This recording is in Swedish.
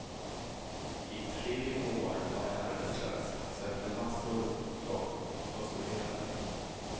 I tre år var jag arbetslös, sökte massor jobb och studerade.